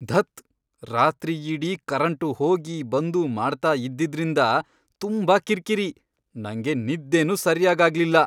ಧತ್! ರಾತ್ರಿಯಿಡೀ ಕರೆಂಟು ಹೋಗೀ, ಬಂದು, ಮಾಡ್ತಾ ಇದ್ದಿದ್ರಿಂದ ತುಂಬಾ ಕಿರ್ಕಿರಿ, ನಂಗೆ ನಿದ್ದೆನೂ ಸರ್ಯಾಗಾಗ್ಲಿಲ್ಲ.